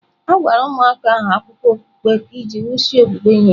A gwara ụmụaka ahụ akụkọ okpukpe iji wusie okwukwe ha ike.